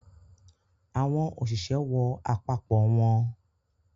Àwọn òṣìṣẹ́ wọ àpapọ̀ wọn.